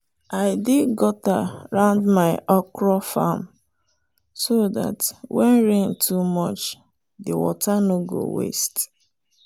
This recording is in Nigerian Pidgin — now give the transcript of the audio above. i dig gutter round my okra farm so dat when rain too much the water no go waste.